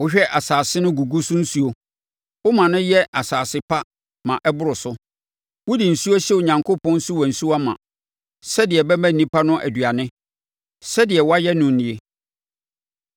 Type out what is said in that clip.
Wohwɛ asase no gugu so nsuo; woma no yɛ asase pa ma ɛboro so. Wode nsuo hyɛ Onyankopɔn nsuwansuwa ma sɛdeɛ ɛbɛma nnipa no aduane. Sɛdeɛ woayɛ no nie.